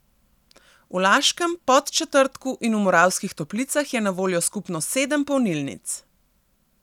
V Laškem, Podčetrtku in v Moravskih Toplicah je na voljo skupno sedem polnilnic.